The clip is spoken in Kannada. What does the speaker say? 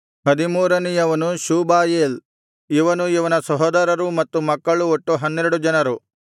ಹದಿಮೂರನೆಯದು ಶೂಬಾಯೇಲ್ ಇವನೂ ಇವನ ಸಹೋದರರೂ ಮತ್ತು ಮಕ್ಕಳು ಒಟ್ಟು ಹನ್ನೆರಡು ಜನರು